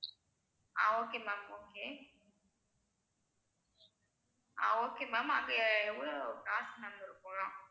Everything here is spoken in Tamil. ஆஹ் okay ma'am okay ஆஹ் okay ma'am அங்க எவ்வளவு காசு ma'am இருக்கும்?